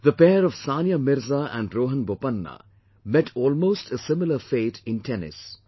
The pair of Sania Mirza and Rohan Bopanna met almost a similar fate in Tennis